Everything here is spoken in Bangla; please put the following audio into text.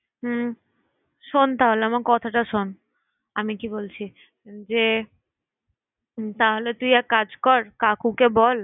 হুম শোন তাহলে আমার কথাটা শোন! আমি কি বলছি যে, তাহলে তুই একটা কাজ কর কাকুকে বল।